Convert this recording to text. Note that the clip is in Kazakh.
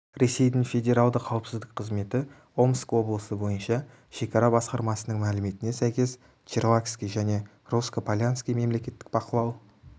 ресейдің федералды қауіпсіздік қызметі омск облысы бойынша шекара басқармасының мәліметіне сәйкес черлакский және русско-полянский мемлекеттік бақылау